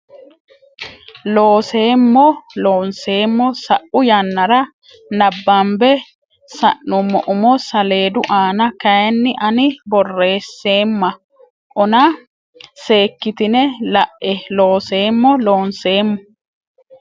Looseemmo Loonseemmo sa u yannara nabbambe sa nummo umo saleedu aana kayinni ani borreesseemma ona seekkitine la e Looseemmo Loonseemmo.